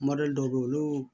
dɔw bɛ yen olu